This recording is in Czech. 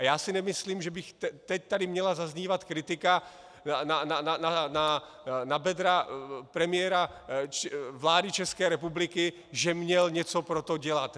A já si nemyslím, že by teď tady měla zaznívat kritika na bedra premiéra vlády České republiky, že měl něco pro to dělat.